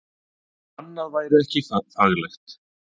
Annað væri ekki faglegt